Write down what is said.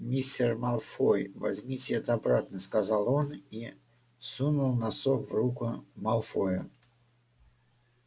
мистер малфой возьмите это обратно сказал он и сунул носок в руку малфоя